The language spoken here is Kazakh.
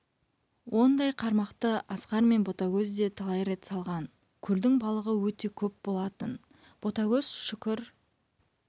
ондай қармақты асқар мен ботагөз де талай рет салған көлдің балығы өте көп болатын ботагөз шүкір